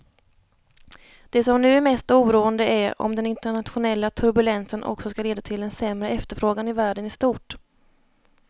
Det som nu är mest oroande är om den internationella turbulensen också ska leda till en sämre efterfrågan i världen i stort.